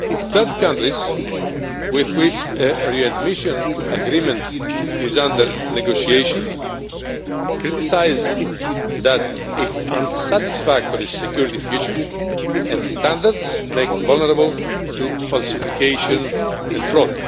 Third countries with which a readmission agreement is under negotiation criticise that its unsatisfactory security features and standards make it vulnerable to falsification and fraud.